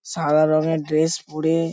সাদা রঙের ড্রেস পরে --